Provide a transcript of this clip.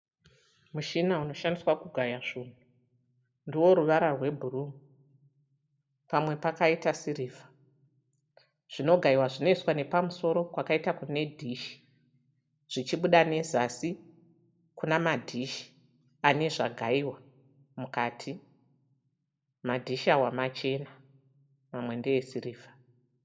Mushina unoshandiswa kugaya zvinhu. Ndewe ruvara rwebhuruu pamwe pakaita sirivha. Zvinogaiwa zvinoiswa nepamusoro kwakaita kune dhishi zvichibuda nezasi kune madhishi ane zvakagaiwa mukati. Madhishi awa machena mamwe ndeesirivha.